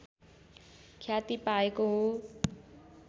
ख्याति पाएको हो